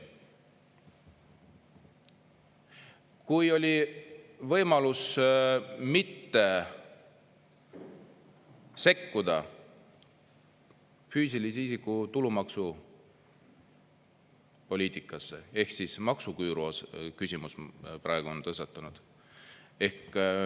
Kui oli võimalus mitte sekkuda füüsilise isiku tulumaksu poliitikasse, ehk maksuküüru küsimus praegu on tõstatunud.